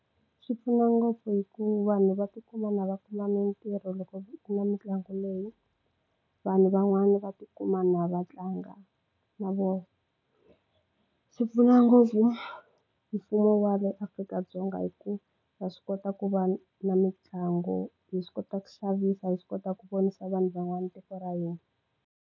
Swi pfuna ngopfu hi ku vanhu va tikuma na va kuma mitirho loko ku na mitlangu leyi vanhu van'wani va tikuma na va tlanga na vona swi pfuna ngopfu mfumo wa le Afrika-Dzonga hi ku ha swi kota ku va na mitlangu hi swi kota ku xavisa hi swi kota ku vonisa vanhu van'wana tiko ra hina.